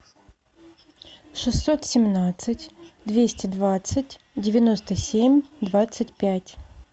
шестьсот семнадцать двести двадцать девяносто семь двадцать пять